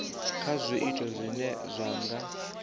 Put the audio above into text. kha zwiito zwine zwa nga